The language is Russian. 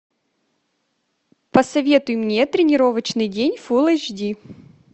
посоветуй мне тренировочный день фулл эйч ди